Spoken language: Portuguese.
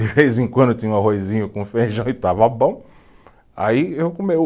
De vez em quando eu tinha um arrozinho com feijão e estava bom. Aí eu come, eu